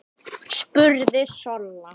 spurði Solla.